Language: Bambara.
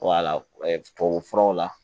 wala tubabu furaw la